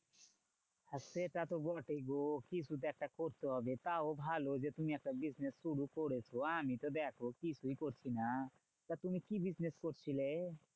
সেটা তো বটেই গো কিছু তো একটা করতে হবে। তাও ভালো যে তুমি একটা business শুরু করেছো আমি তো দেখো কিছুই করছি না। তা তুমি কি business করছিলে?